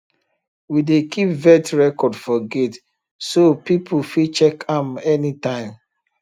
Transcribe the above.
we dey keep vet record for gate so people fit check am anytime